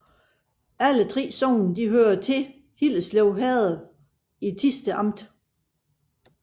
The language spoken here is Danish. Alle 3 sogne hørte til Hillerslev Herred i Thisted Amt